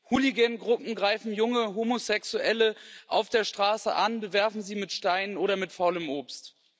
Hooligan Gruppen greifen junge Homosexuelle auf der Straße an, bewerfen sie mit Steinen oder mit faulem Obst.